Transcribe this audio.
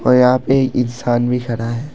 और यहां पे इंसान भी खड़ा है।